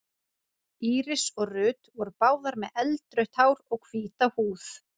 Íris og Ruth voru báðar með eldrautt hár og hvíta húð.